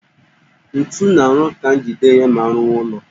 Ntu na-arụ ka njide ihe ma arụwa ụllọ